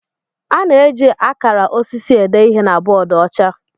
A na-eji akara osisi ede ihe na bọọdụ ọcha.